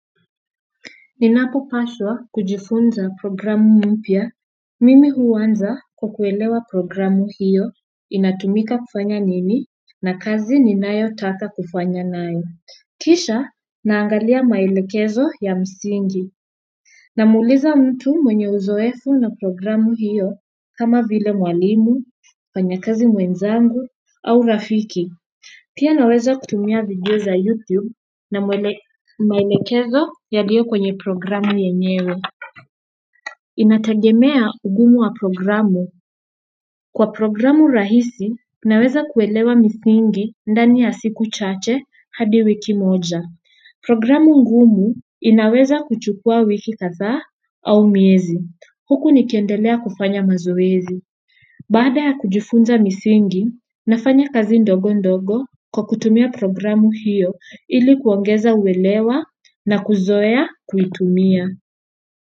Ninapopaswa kujifunza programu mpya, mimi huanza kwa kuelewa programu hiyo inatumika kufanya nini na kazi ninayotaka kufanya nayo. Kisha naangalia maelekezo ya msingi. Namuuliza mtu mwenye uzoefu na programu hiyo kama vile mwalimu, mfanyakazi mwenzangu au rafiki. Pia naweza kutumia video za YouTube na maelekezo yaliyo kwenye programu yenyewe. Inatagemea ugumu wa programu. Kwa programu rahisi naweza kuelewa misingi ndani ya siku chache hadi wiki moja. Programu ngumu inaweza kuchukua wiki kadhaa au miezi. Huku nikiendelea kufanya mazoezi. Baada ya kujifunza misingi, nafanya kazi ndogo ndogo kwa kutumia programu hiyo ili kuongeza uwelewa na kuzoea kuitumia.